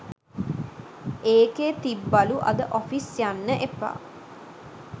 ඒකෙ තිබ්බලු අද ඔෆිස් යන්න එපා